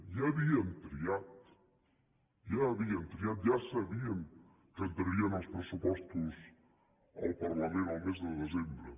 ja havien triat ja havien triat ja sabien que entrarien els pressupostos al parlament el mes de desembre